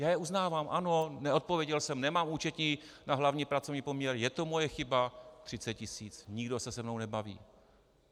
Já je uznávám, ano, neodpověděl jsem, nemám účetní na hlavní pracovní poměr, je to moje chyba, 30 tisíc, nikdo se se mnou nebaví.